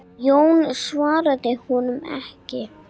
Jón svaraði honum ekki.